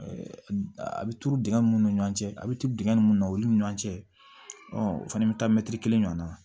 a bɛ turu dingɛ min ni ɲɔgɔn cɛ a bɛ turu dingɛn mun na olu ni ɲɔgɔn cɛ ɔ o fana bɛ taa mɛtiri kelen ɲɔgɔn na